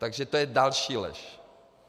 Takže to je další lež.